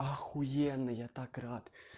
ахуенно я так рад